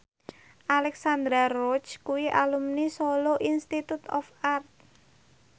Alexandra Roach kuwi alumni Solo Institute of Art